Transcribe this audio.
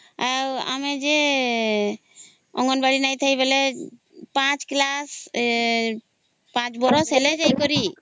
ଆଉ ଆମେ ଯେ ଅଙ୍ଗନବାଡି ନାଇଁ ଥାଇ ବୋଲି ପାଞ୍ଚ class ପାଞ୍ଚ ବର୍ଷ ହେଲେ ଜାଇକରୀ